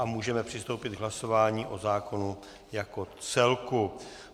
A můžeme přistoupit k hlasování o zákonu jako celku.